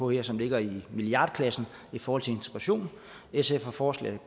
her som ligger i milliardklassen i forhold til integration sf har forslag